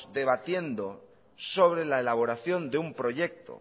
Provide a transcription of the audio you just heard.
debatiendo sobre la elaboración de un proyecto